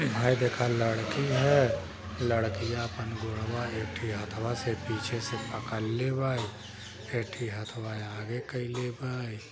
हइ देख लड़की ह लड़कीया आपन गोरवा एथी हाथवा से पीछे से पकड़ले बारी ऐथी हथवा आगे कइले बारी।